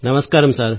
నమస్కారం సార్